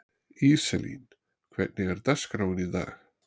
Íselín, hvernig er dagskráin í dag?